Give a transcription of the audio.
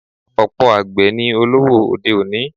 Ọ̀pọ̀ àgbè ni olówó òde-òní.